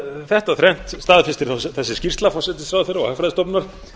þetta þrennt staðfestir þessi skýrsla forsætisráðherra og hagfræðistofnunar